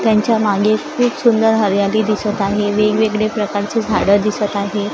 त्यांच्या मागे खूप सुंदर हरयाली दिसतं आहे वेगवेगडे प्रकारची झाडं दिसतं आहे.